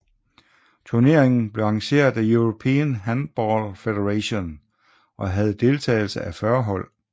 Turneringen blev arrangeret af European Handball Federation og havde deltagelse af 40 hold